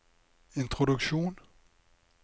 introduksjon